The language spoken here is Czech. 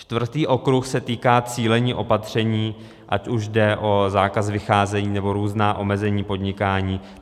Čtvrtý okruh se týká cílení opatření, ať už jde o zákaz vycházení, nebo různá omezení podnikání.